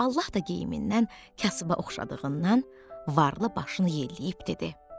Allah da geyiminən kasıba oxşadığından, varlı başını yelləyib dedi: